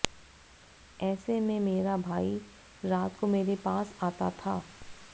ऐसे में मेरा भाई रात को मेरे पास आता था